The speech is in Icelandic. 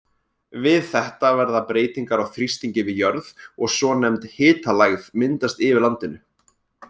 Við þetta verða breytingar á þrýstingi við jörð og svonefnd hitalægð myndast yfir landinu.